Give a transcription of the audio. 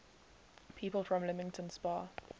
people from leamington spa